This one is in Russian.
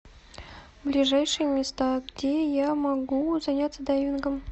ближайшие места где я могу заняться дайвингом